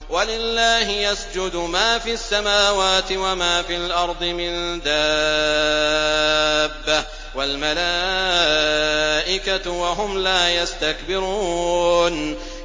وَلِلَّهِ يَسْجُدُ مَا فِي السَّمَاوَاتِ وَمَا فِي الْأَرْضِ مِن دَابَّةٍ وَالْمَلَائِكَةُ وَهُمْ لَا يَسْتَكْبِرُونَ